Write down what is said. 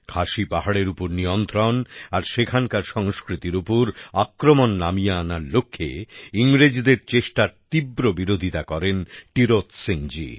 খাসি পাহাড়ের উপর নিয়ন্ত্রণ আর সেখানকার সংস্কৃতির উপর আক্রমণ নামিয়ে আনার লক্ষ্যে ইংরেজদের চেষ্টার তীব্র বিরোধিতা করেন টিরোত সিংজী